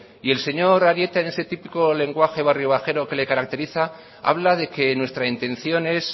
y el señor arieta en ese típico lenguaje barrio bajero que le caracteriza habla de que nuestra intención es